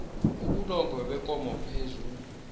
ubulongwe bekomo phezu